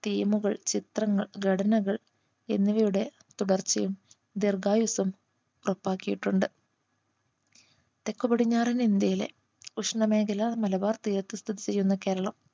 Theme കൾ ചിത്രങ്ങൾ ഘടനകൾ എന്നിവയുടെ തുടർച്ചയും ദീർഘായുസ്സും ഉറപ്പാക്കിയിട്ടുണ്ട് തെക്ക് പടിഞ്ഞാറൻ ഇന്ത്യയിലെ ഉഷ്ണ മേഖല മലബാർ തീരത്ത് സ്ഥിതി ചെയ്യുന്ന കേരളം